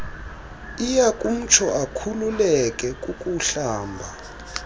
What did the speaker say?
iyakumtsho akhululeke kukuhlamba